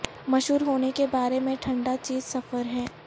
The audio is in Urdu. مشہور ہونے کے بارے میں ٹھنڈا چیز سفر ہے